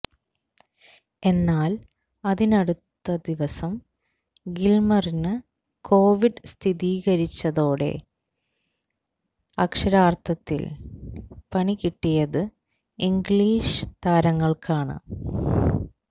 എന്നാല് അതിനടുത്ത ദിവസം ഗില്മറിനു കോവിഡ് സ്ഥിരീകരിച്ചതോടെ അക്ഷരാര്ഥത്തില് പണികിട്ടിയത് ഇംഗ്ലീഷ് താരങ്ങള്ക്കാണ്